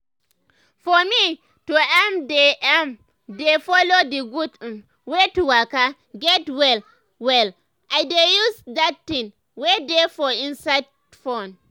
for me to ermm dey ermm dey follow d gud um wey to waka get well well i dey use dat tin wey dey for inside fone.